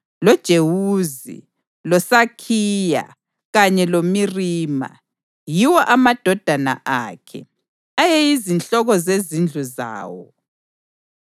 loJewuzi, loSakhiya kanye loMirima. Yiwo amadodana akhe, ayeyizinhloko zezindlu zawo.